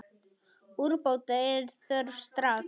Úrbóta er þörf strax.